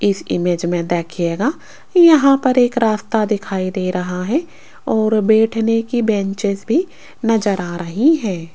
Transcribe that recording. इस इमेज में देखिएगा यहां पर एक रास्ता दिखाई दे रहा है और बैठने की बेंचेज भी नजर आ रही है।